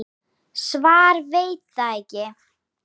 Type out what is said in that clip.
Svar: Veit það ekki.